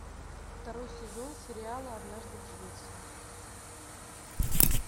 второй сезон сериала однажды в швеции